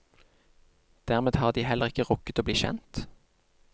Dermed har de heller ikke rukket å bli kjent.